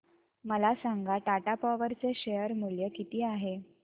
मला सांगा टाटा पॉवर चे शेअर मूल्य किती आहे